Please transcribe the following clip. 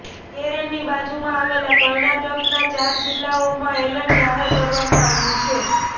કેરળની બાજુમાં આવેલા કર્ણાટકના ચાર જિલ્લાઓમાં એલર્ટ જાહેર કરવામાં આવ્યું છે